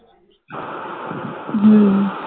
হম